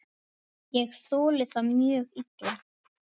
Ég þoli það mjög illa.